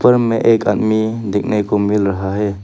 ऊपर में एक आदमी देखने को मिल रहा है।